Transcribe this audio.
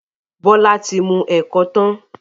Bola tí mú ẹkọ tán..